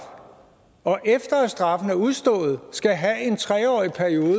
og efter at straffen er udstået skal have en tre årig periode